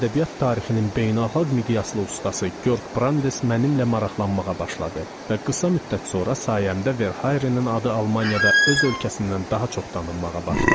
Ədəbiyyat tarixinin beynəlxalq miqyaslı ustası Georg Brandes mənimlə maraqlanmağa başladı və qısa müddət sonra sayəmdə Verharenin adı Almaniyada öz ölkəsindən daha çox tanınmağa başladı.